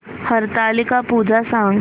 हरतालिका पूजा सांग